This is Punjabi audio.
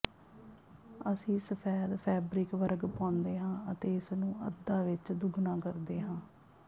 ਅਸੀਂ ਸਫੈਦ ਫੈਬਰਿਕ ਵਰਗ ਪਾਉਂਦੇ ਹਾਂ ਅਤੇ ਇਸ ਨੂੰ ਅੱਧਾ ਵਿਚ ਦੁੱਗਣਾ ਕਰਦੇ ਹਾਂ